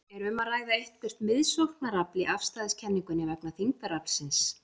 Er um að ræða eitthvert miðsóknarafl í afstæðiskenningunni vegna þyngdaraflsins?